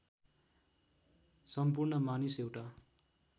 सम्पूर्ण मानिस एउटा